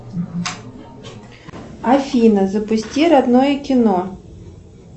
афина запусти родное кино